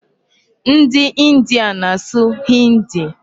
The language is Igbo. Ndị India na-asụ 'Hindi'.